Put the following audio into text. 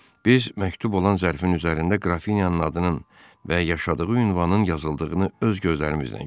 Biz məktub olan zərfin üzərində Qrafinyanın adının və yaşadığı ünvanın yazıldığını öz gözlərimizlə gördük.